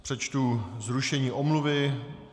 Přečtu zrušení omluvy.